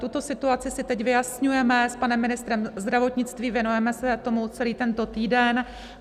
Tuto situaci si teď vyjasňujeme s panem ministrem zdravotnictví, věnujeme se tomu celý tento týden.